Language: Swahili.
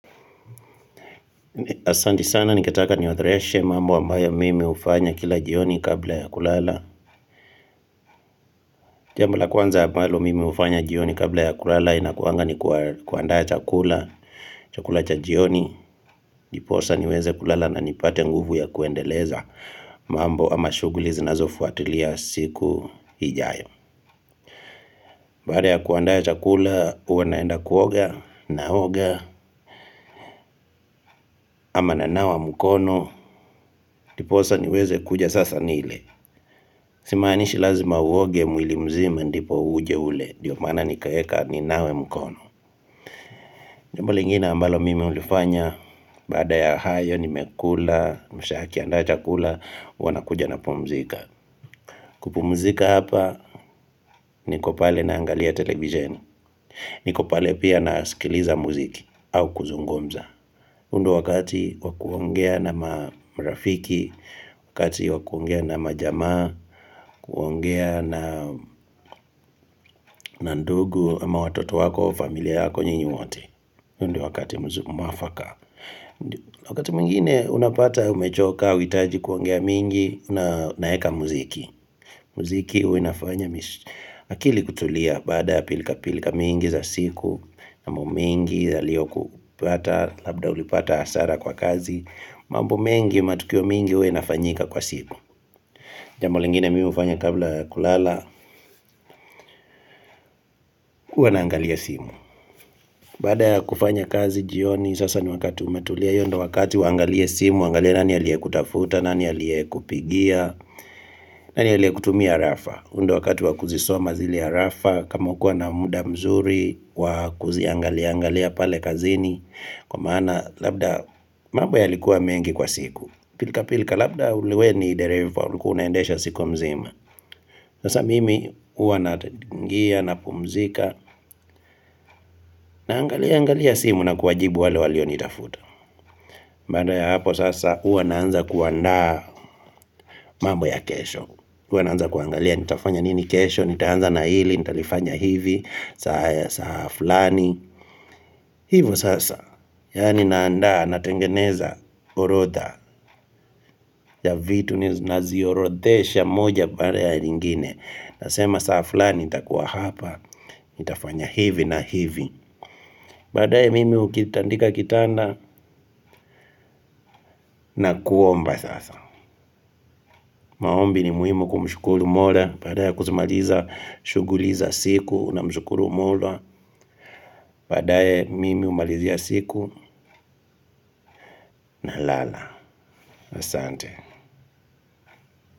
Asante sana ningetaka niorodheshe mambo ambayo mimi hufanya kila jioni kabla ya kulala Jambo la kwanza ambalo mimi hufanya jioni kabla ya kulala inakuanga ni kuandaa chakula chakula cha jioni Ndiposa niweze kulala na nipate nguvu ya kuendeleza mambo ama shughuli zinazofuatilia siku ijayo baada ya kuandaa chakula huwa naenda kuoga naoga ama nanawa mkono Ndiposa niweze kuja sasa nile Simaanishi lazima uoge mwili mzima ndipo uje ule ndio maana nikaeka ninawe mkono Jambo lingine ambalo mimi hulifanya Baada ya hayo nimekula Mshaa akiandaa chakula huwa nakuja napumzika kupumzika hapa niko pale na naangalia televisheni niko pale pia nasikiliza muziki au kuzungumza huu ndo wakati wa kuongea na marafiki Wakati wa kuongea na majamaa kuongea na na ndugu ama watoto wako, familia yako nyinyi wote huo ndo wakati mwafaka Wakati mwingine unapata umechoka, huitaji kuongea mingi Unaeka muziki Muziki huwa inafanya akili kutulia baada ya pilka pilka mingi za siku mambo mengi yaliyokupata Labda ulipata hasara kwa kazi mambo mengi matukio mingi huwa inafanyika kwa siku Jambo lingine mimi hufanya kabla kulala huwa naangalia simu Baada ya kufanya kazi jioni, sasa ni wakati umetulia hio ndo wakati uangalie simu, uangalie nani aliyekutafuta, nani aliyekupigia, nani aliyekutumia harafa. Huu ndo wakati wa kuzisoma zile arafa, kama hukua na muda mzuri, wa kuziangalia, angalia pale kazini, kwa maana labda mambo yalikuwa mengi kwa siku. Pilka pilka labda wewe ni dereva ulikua unaendesha siku mzima Sasa mimi huwa nachangia napumzika Naangalia angalia simu na kuwajibu wale walionitafuta baada ya hapo sasa huwa naanza kuandaa mambo ya kesho huwa naanza kuangalia nitafanya nini kesho Nitaanza na hili nitalifanya hivi saa ya saa fulani Hivo sasa Yaani naanda natengeneza orodha ya vitu niziorodhesha moja baada ya nyingine Nasema saa fulani nitakuwa hapa, nitafanya hivi na hivi Baadae mimi ukitandika kitanda na kuomba sasa maombi ni muhimu kumshukuru mola Baada ya kuzimaliza, shughuli za siku namshukuru mola Baadae mimi humalizia siku nalala Asante.